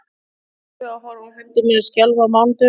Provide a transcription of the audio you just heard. Er ég sáttur við að horfa á hendur mínar skjálfa á mánudögum?